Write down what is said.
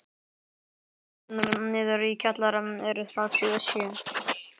Tröppurnar niður í kjallara eru þrjátíu og sjö.